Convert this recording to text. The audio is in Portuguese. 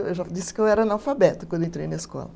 Eu já disse que eu era analfabeta quando entrei na escola.